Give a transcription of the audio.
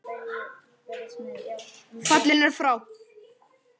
Fallinn er frá.